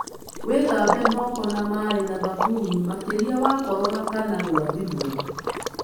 Wĩthambe moko na maĩ na thabuni makĩria wakorora kana gwathimũra.